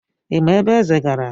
Ị ma ebe Eze gara?